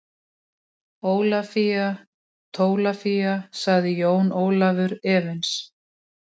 Ólafía Tólafía, sagði Jón Ólafur efins.